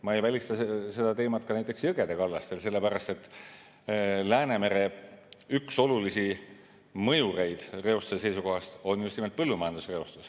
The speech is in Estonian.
Ma ei välista seda ka jõgede kallastel, sellepärast et üks olulisi mõjureid Läänemere reostuse seisukohast on just nimelt põllumajandusreostus.